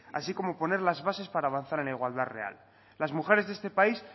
así como poner las bases para avanzar en la igualdad real las mujeres de este país